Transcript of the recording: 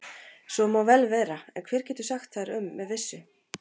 Svo má vel vera, en hver getur sagt þar um með vissu?